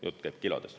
Jutt käib kilodest.